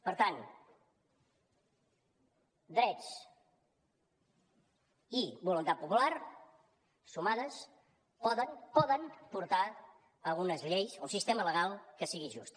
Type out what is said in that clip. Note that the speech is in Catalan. per tant drets i voluntat popular sumades poden portar a unes lleis un sistema legal que sigui just